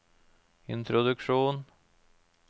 introduksjon